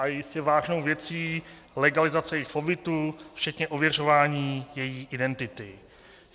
A je jistě vážnou věcí legalizace jejich pobytu včetně ověřování její identity.